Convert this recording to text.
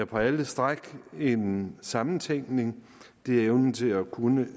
på alle stræk er en sammentænkning det er evnen til at kunne